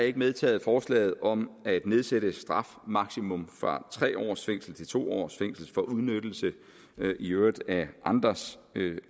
ikke medtaget forslaget om at nedsætte strafmaksimum fra tre års fængsel til to års fængsel for udnyttelse i øvrigt af andres